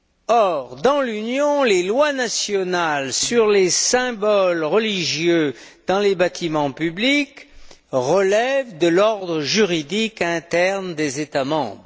Or, dans l'Union, les lois nationales sur les symboles religieux dans les bâtiments publics relèvent de l'ordre juridique interne des États membres.